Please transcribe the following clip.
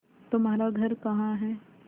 तुम्हारा घर कहाँ है